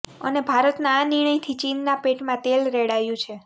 અને ભારતના આ નિર્ણયથી ચીનના પેટમાં તેલ રેડાયું છે